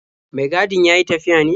Mai gadin ya yi tafiya ne?